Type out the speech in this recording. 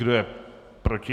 Kdo je proti?